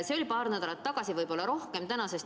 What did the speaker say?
See oli paar nädalat, võib-olla rohkem tagasi.